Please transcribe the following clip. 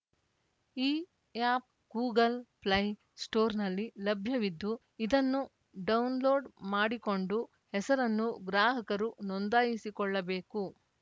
ಈ app Google play ಸ್ಟೋರ್‌ನಲ್ಲಿ ಲಭ್ಯವಿದ್ದು ಇದನ್ನು ಡೋನ್‌ಲೋಡ್‌ ಮಾಡಿಕೊಂಡು ಹೆಸರನ್ನು ಗ್ರಾಹಕರು ನೊಂದಾಯಿಸಿಕೊಳ್ಳಬೇಕು